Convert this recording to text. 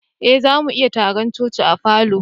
Eh, za mu yi taron coci'n a falo.